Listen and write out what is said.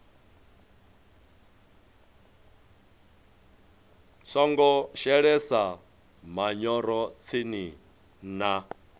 songo shelesa manyoro tsini na